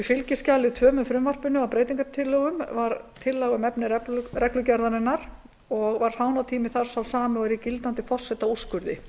í fylgiskjali tvö með frumvarpi að breytingalögunum var tillaga um efni reglugerðarinnar og var fánatími þar sá sami og er í gildandi forsetaúrskurði